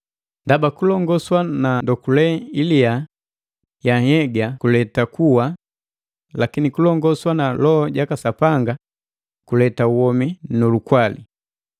Ndaba kulongoswa na ndokule ilia ya nhyega kuleta kuwa lakini kulongoswa na Loho jaka Sapanga kuleta womi nu lukwali.